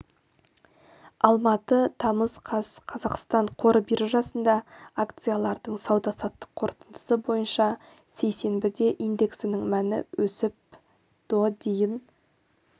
алматы тамыз қаз қазақстан қор биржасындағы акциялардың сауда-саттық қорытындысы бойынша сейсенбіде индексінің мәні өсіп до дейін